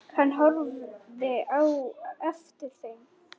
Hann horfði á eftir þeim.